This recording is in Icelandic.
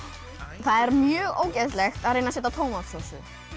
það er mjög ógeðslegt að reyna að setja tómatsósu